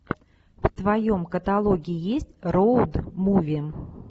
в твоем каталоге есть роуд муви